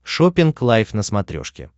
шоппинг лайв на смотрешке